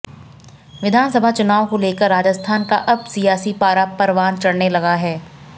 विधानसभा चुनाव को लेकर राजस्थान का अब सियासी पारा परवना चढ़ने लगा है